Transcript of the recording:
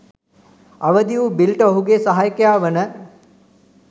අවදි වූ බිල්ට ඔහුගේ සහයකයා වන